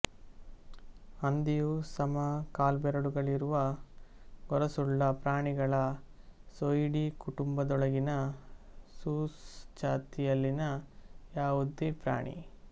ಹಂದಿಯು ಸಮ ಕಾಲ್ಬೆರಳುಗಳಿರುವ ಗೊರಸುಳ್ಳ ಪ್ರಾಣಿಗಳ ಸೂಯಿಡಿ ಕುಟುಂಬದೊಳಗಿನ ಸೂಸ್ ಜಾತಿಯಲ್ಲಿನ ಯಾವುದೇ ಪ್ರಾಣಿ